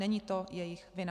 Není to jejich vina.